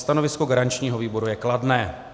Stanovisko garančního výboru je kladné.